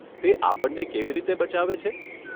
તે આપણને કેવી રીતે બચાવે છે?